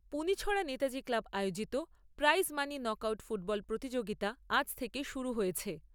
Punichhara Netaji club আয়োজিত prize money knock out football প্রতিযোগীতা আজ থেকে শুরু হয়েছে।